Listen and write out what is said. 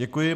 Děkuji.